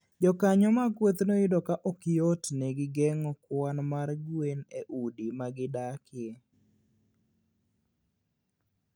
Jokanyo mag kwethno yudo ka ok yotnegi geng'o kwan mar gwen e udi ma gidakie.